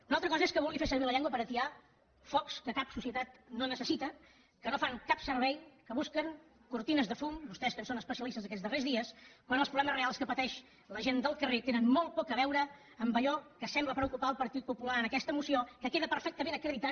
una altra cosa és que vulguin fer servir la llengua per atiar focs que cap societat no necessita que no fan cap servei que busquen cortines de fum vostès en són especialistes aquests darrers dies quan els problemes reals que pateix la gent del carrer tenen molt poc a veure amb allò que sembla preocupar el partit popular en aquesta moció que queda perfectament acreditat